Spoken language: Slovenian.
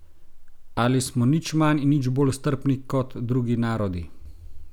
Ali smo nič manj in nič bolj strpni kot drugi narodi?